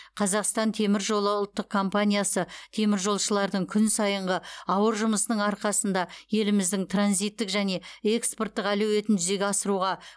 қазақстан темір жолы ұлттық компаниясы теміржолшылардың күн сайынғы ауыр жұмысының арқасында еліміздің транзиттік және экспорттық әлеуетін жүзеге асыруға